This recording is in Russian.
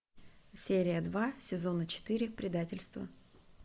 серия два сезона четыре предательство